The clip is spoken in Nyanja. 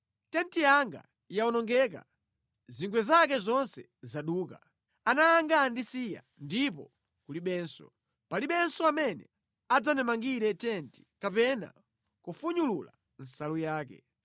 Tenti yanga yawonongeka, zingwe zake zonse zaduka. Ana anga andisiya ndipo kulibenso. Palibenso amene adzandimangire tenti, kapena kufunyulula nsalu yake.